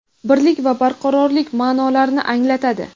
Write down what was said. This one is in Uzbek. birlik va barqarorlik ma’nolarini anglatadi.